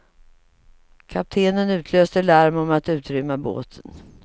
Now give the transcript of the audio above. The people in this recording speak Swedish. Kaptenen utlöste larm om att utrymma båten.